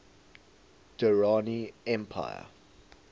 durrani empire